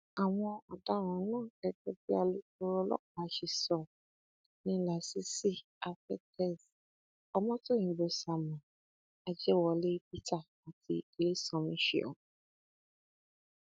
àwọn ọdaràn náà gẹgẹ bí alukoro ọlọpàá ṣe sọ ni lásìsí àfetéez ọmọtọyìnbó samuel ajẹwọlé peter àti ilésànmí ṣẹun